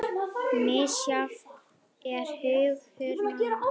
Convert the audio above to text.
Misjafn er hugur manna